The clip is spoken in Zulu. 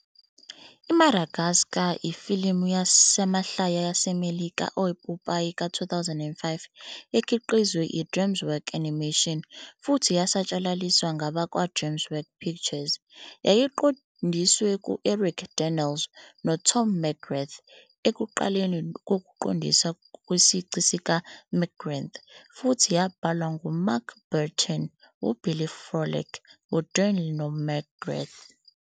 I-Madagascar ifilimu yamahlaya yaseMelika epopayi ka-2005 ekhiqizwe i-DreamWorks Animation futhi yasatshalaliswa ngabakwa-DreamWorks Pictures. Yayiqondiswa u-Eric Darnell no-Tom McGrath, ekuqaleni kokuqondisa kwesici sikaMcGrath, futhi yabhalwa nguMark Burton, uBilly Frolick, uDarnell, noMcGrath.